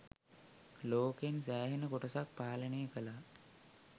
ලෝකෙන් සෑහෙන කොටසක් පාලනය කලා